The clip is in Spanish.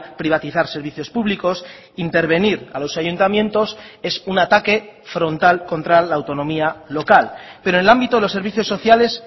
privatizar servicios públicos intervenir a los ayuntamientos es un ataque frontal contra la autonomía local pero en el ámbito de los servicios sociales